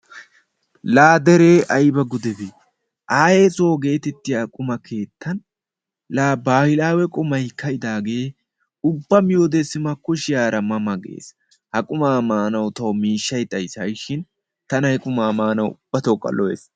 Laa deree ayba gudebee ayee soo gettettiyaa qumma keettan laa baahilaawe qumay kaa"idaagee ubba miyoode sima kushshiyaara ma ma gees. Ha qumaa maanawu tawu miishshay xayiis ha'i shiin tana he qumaa maanawu ubbatokka lo"ees.